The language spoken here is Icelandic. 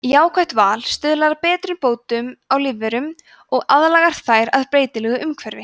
jákvætt val stuðlar að betrumbótum á lífverum og aðlagar þær að breytilegu umhverfi